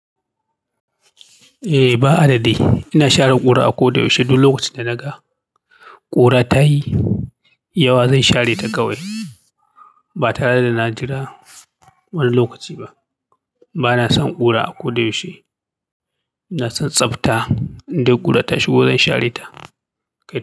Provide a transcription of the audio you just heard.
Eh, ba adadi. Ina share ƙura a ko da yaushe. Duk lokacin da naga ƙura ta yi yawa, zan share ta kawai. Ba tare da na jira wani lokaci ba. Ba na son ƙura a ko da yaushe. Ina son tsafta, idan ƙura ta shigo zan share ta kawai.